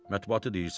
Mətbuatı deyirsən?